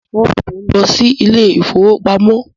Ọ̀sán ní mò ń lọ sí ilé ìfọwọ́pamo.